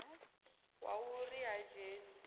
wa u ri ha dzheni